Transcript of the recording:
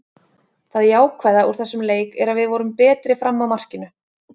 Það jákvæða úr þessum leik er að við vorum betri fram að markinu.